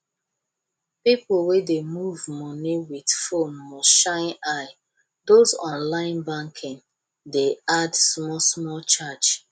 people wey dey move money with phone must shine eye those online banking dey add smallsmall charge